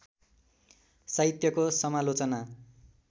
साहित्यको समालोचना